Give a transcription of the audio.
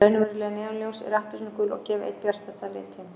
Raunveruleg neonljós eru appelsínugul og gefa einn bjartasta litinn.